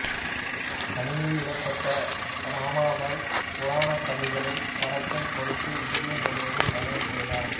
தனிமையில் விடப்பட்ட ரமாபாய் புராணக் கதைகளைப் பரப்பும் பொருட்டு இந்தியா முழுவதும் பயணம் செய்தார்